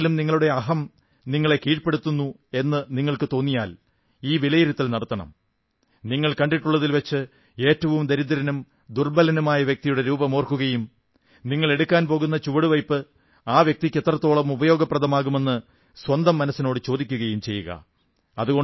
എപ്പോഴെങ്കിലും നിങ്ങളുടെ അഹം നിങ്ങളെ കീഴ്പ്പെടുത്തുന്നു എന്നു നിങ്ങൾക്കു തോന്നിയാൽ ഈ വിലയിരുത്തൽ നടത്തണം നിങ്ങൾ കണ്ടിട്ടുള്ളതിൽ വച്ച് ഏറ്റവും ദരിദ്രനും ദുർബ്ബലനുമായ വ്യക്തിയുടെ രൂപം ഓർക്കുകയും നിങ്ങൾ എടുക്കാൻ പോകുന്ന ചുവടുവയ്പ്പ് ആ വ്യക്തിക്ക് എത്രത്തോളം ഉപയോഗപ്രദമാകുമെന്ന് സ്വന്തം മനസ്സിനോടു ചോദിക്കുകയും ചെയ്യുക